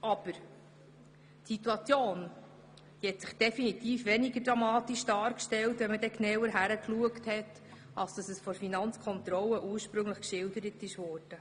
Aber die Situation hat sich beim genaueren Hinschauen definitiv als weniger dramatisch herausgestellt, als sie von der Finanzkontrolle ursprünglich geschildert wurde.